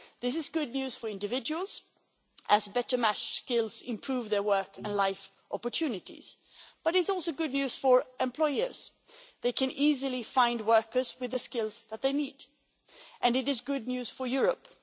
This is good news for individuals, as better matched skills improve their work and life opportunities. However, it is also good news for employers they can easily find workers with the skills that they need and it is good news for Europe.